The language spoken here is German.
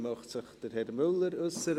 Möchte sich Herr Müller äussern?